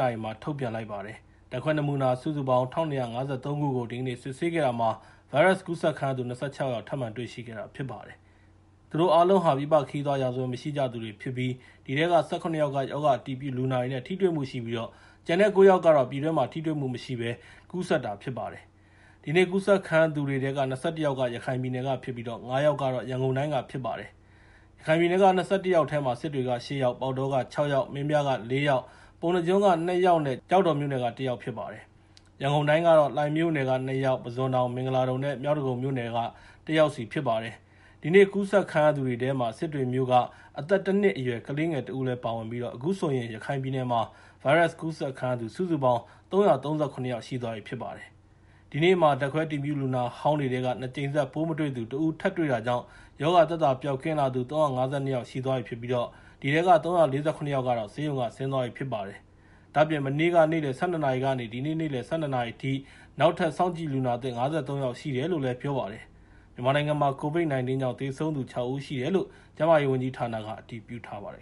နာရီမှာ ထုတ်ပြန်လိုက်ပါတယ်။ ဓာတ်ခွဲနမူနာ ၁,၂၅၃ ခုကို ဒီကနေ့ စစ်ဆေးခဲ့တာမှာ ဗိုင်းရပ်စ်ကူးစက်ခံရသူ ၂၆ ယောက် ထပ်မံတွေ့ရှိခဲ့တာ ဖြစ်ပါတယ်။ သူတို့အားလုံးဟာ ပြည်ပခရီးသွားရာဇဝင် မရှိကြသူတွေဖြစ်ကြပြီး အဲဒီထဲက ၁၇ ယောက်က ရောဂါအတည်ပြုလူနာတွေနဲ့ ထိတွေ့မှုရှိပြီး ကျန်တဲ့ ၉ ယောက်ကတော့ ပြည်တွင်းမှာ ထိတွေ့မှုမရှိဘဲ ကူးစက်တာ ဖြစ်ပါတယ်။ ဒီနေ့ကူးစက်ခံရသူတွေထဲက ၂၁ ယောက်က ရခိုင်ပြည်နယ်ကဖြစ်ပြီး ၅ ယောက်က ရန်ကုန်တိုင်းက ဖြစ်ပါတယ်။ ရခိုင်ပြည်နယ်က ၂၁ ယောက်ထဲမှာ စစ်တွေက ၈ ယောက်၊ ပေါက်တောက ၆ ယောက်၊ မင်းပြားက ၄ ယောက်၊ ပုဏ္ဏားကျွန်းက ၂ ယောက်နဲ့ ကျောက်တော်က ၁ ယောက် ဖြစ်ပါတယ်။ ရန်ကုန်တိုင်းကတော့ လှိုင်မြို့နယ်က ၂ ယောက်၊ ပုဇွန်တောင်၊ မင်္ဂလာဒုံနဲ့ မြောက်ဒဂုံမြို့နယ်တွေက ၁ ယောက်စီဖြစ်ပါတယ်။ ဒီနေ့ကူးစက်ခံရသူတွေထဲမှာ စစ်တွေမြို့က အသက် ၁ နှစ်အရွယ် ကလေးငယ်တဦးလည်း ပါဝင်ပြီး အခုဆိုရင် ရခိုင်ပြည်နယ်မှာ ဗိုင်းရပ်စ်ကူးစက်ခံရသူ စုစုပေါင်း ၃၃၇ ယောက်ရှိသွားပြီ ဖြစ်ပါတယ်။ ဒီနေ့မှာ ဓာတ်ခွဲအတည်ပြု လူနာဟောင်းတွေထဲက ၂ ကြိမ်ဆက် ပိုးမတွေ့သူ ၁ ဦး တွေ့တာကြောင့် ရောဂါသက်သာပျောက်ကင်းသူ ၃၅၂ ယောက်ရှိသွားပြီဖြစ်ပြီး ၃၄၇ ယောက်က ဆေးရုံက ဆင်းသွားပြီဖြစ်ပါတယ်။ ဒါ့အပြင် မနေ့က နေ့လယ် ၁၂ နာရီကနေ ဒီနေ့ နေ့လယ်အထိ နောက်ထပ်စောင့်ကြည့်လူနာသစ် ၅၃ ယောက်ရှိတယ်လို့ ပြောပါတယ်။ မြန်မာနိုင်ငံမှာ COVID-19 ကြောင့် သေဆုံးသူ ၆ ဦးရှိတယ်လို့ ကျန်းမာရေးဝန်ကြီးဌာနက အတည်ပြုထားပါတယ်